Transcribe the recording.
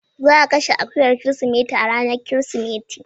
Za a kashe akuyar Kirsimeti a ranar Kirsimeti.